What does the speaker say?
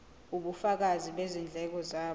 ubufakazi bezindleko zabo